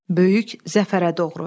Böyük zəfərə doğru.